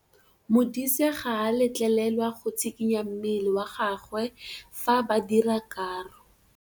Modise ga a letlelelwa go tshikinya mmele wa gagwe fa ba dira karô.